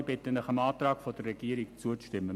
Ich bitte Sie, dem Antrag der Regierung zuzustimmen.